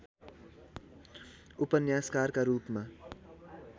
उपन्यासकारका रूपमा